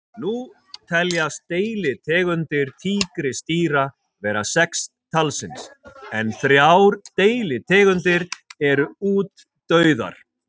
Nú teljast deilitegundir tígrisdýra vera sex talsins en þrjár deilitegundir eru útdauðar.